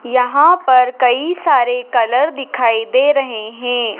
यहां पर कई सारे कलर दिखाई दे रहे है।